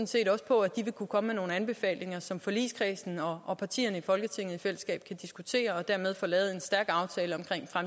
set også på at de vil kunne komme med nogle anbefalinger som forligskredsen og og partierne i folketinget i fællesskab kan diskutere og dermed få lavet en stærk aftale